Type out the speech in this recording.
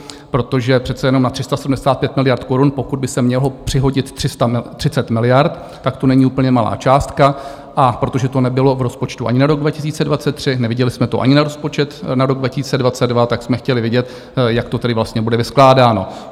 Protože přece jenom na 375 miliard korun pokud by se mělo přihodit 30 miliard, tak to není úplně malá částka, a protože to nebylo v rozpočtu ani na rok 2023, neviděli jsme to ani na rozpočet na rok 2022, tak jsme chtěli vidět, jak to tedy vlastně bude vyskládáno.